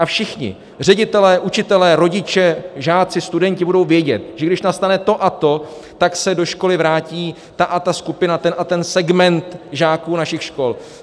A všichni, ředitelé, učitelé, rodiče, žáci, studenti budou vědět, že když nastane to a to, tak se do školy vrátí ta a ta skupina, ten a ten segment žáků našich škol.